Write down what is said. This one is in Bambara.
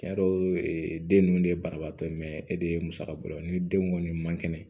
Tiɲɛ yɛrɛ den ninnu de ye banabaatɔ e de ye musakako ye ni den kɔni man kɛnɛ